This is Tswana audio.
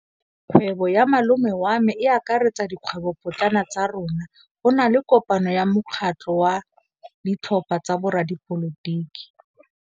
Kgwêbô ya malome wa me e akaretsa dikgwêbôpotlana tsa rona. Go na le kopanô ya mokgatlhô wa ditlhopha tsa boradipolotiki.